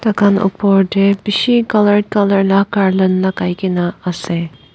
Taikhan oportae bishi colour colour la garland lakaikaena ase.